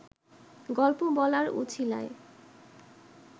গল্প বলার উছিলায়